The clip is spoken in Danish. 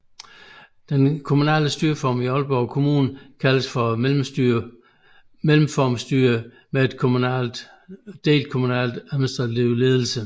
Den kommunale styreform i Aalborg Kommune kaldes for mellemformstyre med delt administrativ ledelse